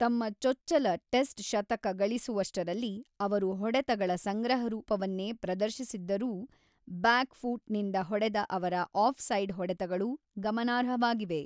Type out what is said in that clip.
ತಮ್ಮ ಚೊಚ್ಚಲ ಟೆಸ್ಟ್ ಶತಕ ಗಳಿಸುವಷ್ಟರಲ್ಲಿ ಅವರು ಹೊಡೆತಗಳ ಸಂಗ್ರಹರೂಪವನ್ನೇ ಪ್ರದರ್ಶಿಸಿದ್ದರೂ, ಬ್ಯಾಕ್‌ ಫೂಟ್‌ ನಿಂದ ಹೊಡೆದ ಅವರ ಆಫ್-ಸೈಡ್ ಹೊಡೆತಗಳು ಗಮನಾರ್ಹವಾಗಿವೆ.